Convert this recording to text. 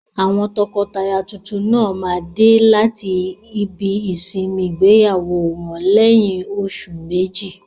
Àwọn tọkọtaya tuntun náà máa dé láti ibi ìsinmi ìgbéyàwó wọn lẹ́yìn oṣù méjì.